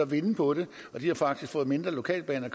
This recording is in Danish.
vinde på det de har faktisk fået mindre lokalbane at